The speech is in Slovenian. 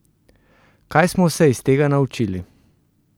Kaj smo se iz tega naučili?